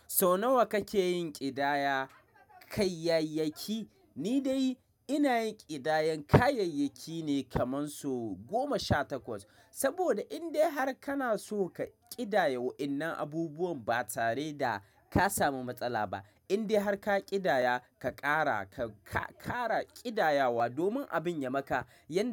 Sau nawa kake yin ƙidaya kayayyaki? Ni dai ina yin ƙidayan kayayyaki ne kaman so goma sha takwas. Saboda indai har kana so ka ƙidaya wa'innan abubuwan ba tare da ka samu matsala ba. Indai har ka ƙidaya, ka ƙara, ka ƙara ƙidayawa domin abin ya maka yan.